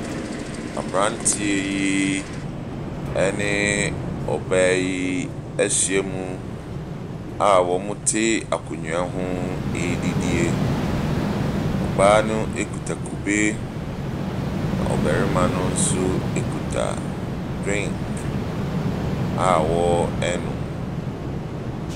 Aberanteɛ yi ne ɔbaa yi ahyia mu a wɔte akonnwa ho redidi. Ɔbaa no kita kube Na ɔbarima no nso kita drink a wɔrenom.